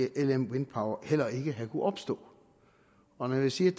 lm wind power heller ikke have kunnet opstå og når jeg siger